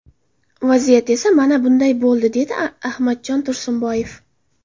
Vaziyat esa mana bunday bo‘ldi”, dedi Ahmadjon Tursunboyev.